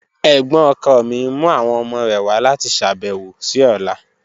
Ẹ̀gbọ́̀n ọkọ mi n mu awọn ọmọ rẹ wa lati ṣabẹwo si ọla.